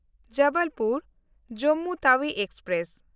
ᱡᱚᱵᱚᱞᱯᱩᱨ–ᱡᱚᱢᱢᱩ Tawi express